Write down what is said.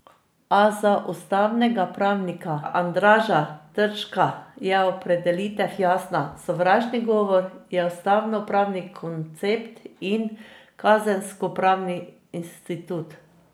A za ustavnega pravnika Andraža Terška je opredelitev jasna: 'Sovražni govor je ustavnopravni koncept in kazenskopravni institut.